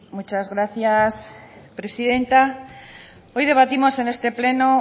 muchas gracias presidenta hoy debatimos en este pleno